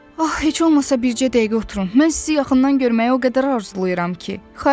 Ax, heç olmasa bircə dəqiqə oturun, mən sizi yaxından görməyə o qədər arzulayıram ki.